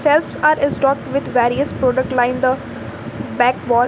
Else are is dropped with various product line the back wall.